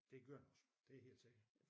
Det gør den også det er helt sikkert